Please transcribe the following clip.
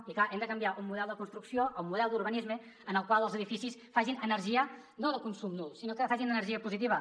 i clar hem de canviar el model de construcció el model d’urbanisme en el qual els edificis facin energia no de consum nul sinó que facin energia positiva